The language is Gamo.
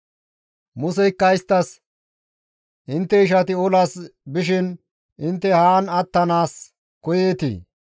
Museykka isttas, «Intte ishati olas bishin intte haan attanaas koyeetii?